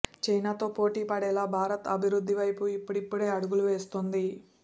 China తో పోటీ పడేలా భారత్ అభివృద్ధి వైపు ఇప్పుడిప్పుడే అడుగులు వేస్తోంది